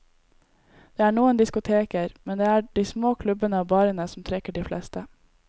Det er noen diskoteker, men det er de små klubbene og barene som trekker de fleste.